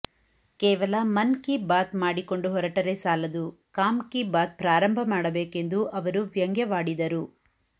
ಕೇವಲ ಮನ್ ಕೀ ಬಾತ್ ಮಾಡಿಕೊಂಡು ಹೊರಟರೇ ಸಾಲದು ಕಾಮಕೀ ಬಾತ ಪ್ರಾರಂಭ ಮಾಡಬೇಕೆಂದು ಅವರು ವ್ಯಂಗ್ಯವಾಡಿದರು